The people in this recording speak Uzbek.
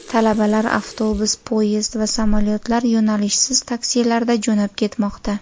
Talabalar avtobus, poyezd va samolyotlar, yo‘nalishsiz taksilarda jo‘nab ketmoqda.